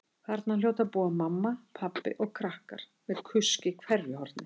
Þarna hljóta að búa mamma, pabbi og krakkar með kusk í hverju horni.